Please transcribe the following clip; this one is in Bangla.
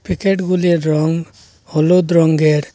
প্যাকেট -গুলির রঙ হলুদ রঙ্গের।